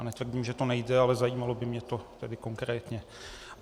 Já netvrdím, že to nejde, ale zajímalo by mě to tedy konkrétně.